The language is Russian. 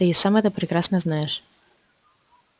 ты и сам это прекрасно знаешь